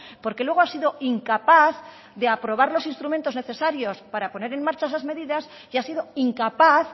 porque luego ha sido incapaz de aprobar los instrumentos necesarios para poner en marcha esas medidas y ha sido incapaz